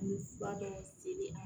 An bɛ fura dɔ seli a